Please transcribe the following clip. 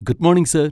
Good morning sir.